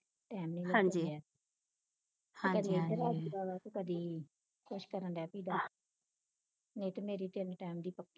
time ਨੀ ਲੱਗਦਾ ਤੇ ਕਦੀ ਕੁਛ ਕਰਨ ਦੈ ਪਈ ਦਾ ਨਹੀਂ ਤੇ ਮੇਰੀ ਤਿੰਨ time ਦੀ ਪੱਕੀ ਦੁਆ